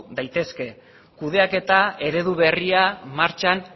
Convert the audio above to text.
daitezke kudeaketa eredu berria martxan